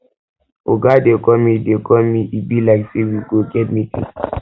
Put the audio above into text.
oga dey call me dey call me e be like say we go get meeting